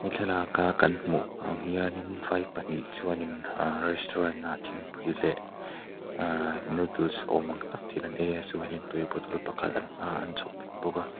thlalaka kan hmuh ang hianin vai pahnih chuanin ahh restaurant ah thingpui leh ahh noodles awm ang tak thil an ei a chuanin tui bottle pakhat an hmaah an chhawp th bawk a.